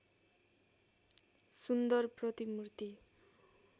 सुन्दर प्रतिमुर्ति